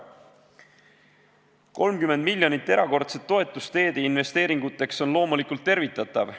30 miljonit erakordset toetust teeinvesteeringuteks on loomulikult tervitatav.